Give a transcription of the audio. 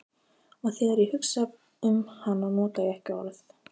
Og þegar ég hugsa um hana nota ég ekki orð.